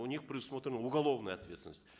у них предусмотрена уголовная ответственность